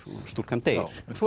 stúlkan deyr svo